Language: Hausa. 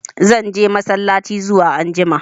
Zan je massalaci zuwa anjima.